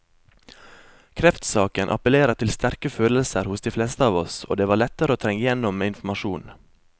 Kreftsaken appellerer til sterke følelser hos de fleste av oss, og det var lettere å trenge igjennom med informasjon.